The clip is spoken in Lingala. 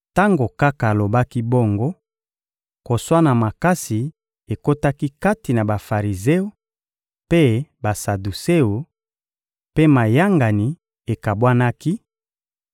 Tango kaka alobaki bongo, koswana makasi ekotaki kati na Bafarizeo mpe Basaduseo, mpe mayangani ekabwanaki;